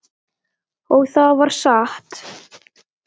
Og það var satt.